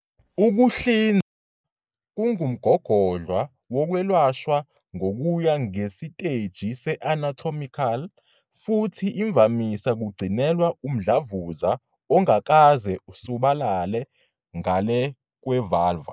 Ukuhlinzwa kungumgogodla wokwelashwa ngokuya ngesiteji se-anatomical futhi imvamisa kugcinelwa umdlavuza ongakaze usabalale ngale kwe-vulva.